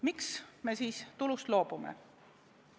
Miks me siis tulust loobume?